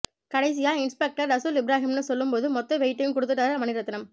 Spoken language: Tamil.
கடைசியா இன்ஸ்பெக்டர் ரசூல் இப்ராஹிம்னு சொல்லும்போது மொத்த வெயிட்டும் கொடுத்துட்டாரு மணிரத்னம்